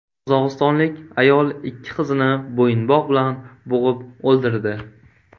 Qozog‘istonlik ayol ikki qizini bo‘yinbog‘ bilan bo‘g‘ib o‘ldirdi.